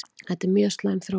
Þetta er mjög slæm þróun